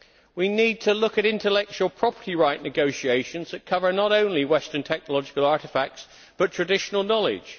We need to look at intellectual property right negotiations that cover not only Western technological artefacts but traditional knowledge